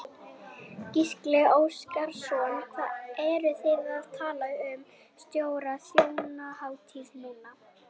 Gísli Óskarsson: Hvað eruð þið að tala um stóra þjóðhátíð núna?